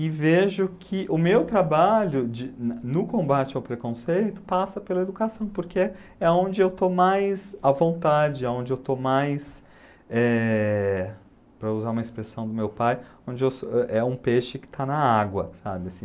E vejo que o meu trabalho de na no combate ao preconceito passa pela educação, porque é onde eu estou mais à vontade, a onde eu estou mais, eh, para usar uma expressão do meu pai, onde eu sou é é um peixe que está na água, sabe, assim?